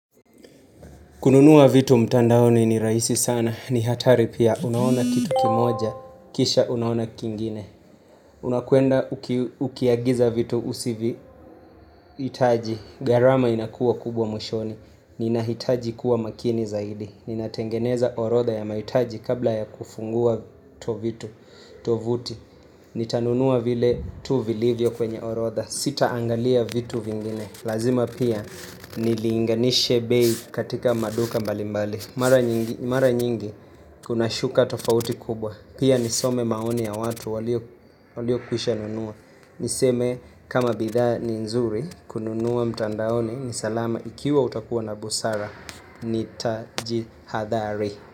Kununua vitu mtandaoni ni rahisi sana, ni hatari pia. Unaona kitu kimoja, kisha unaona kingine. Unakwenda ukiagiza vitu usivihitaji, gharama inakuwa kubwa mwishoni. Ninahitaji kuwa makini zaidi. Ninatengeneza orodha ya mahitaji kabla ya kufungua tovuti Nitanunua vile tu vilivyo kwenye orodha. Sitaangalia vitu vingine. Lazima pia nilinganishe bei katika maduka mbalimbali mara Mara nyingi kuna shuka tofauti kubwa Pia nisome maoni ya watu waliokwisha nunua Niseme kama bidhaa ni nzuri kununua mtandaoni ni salama ikiwa utakuwa na busara Nitajihadhari.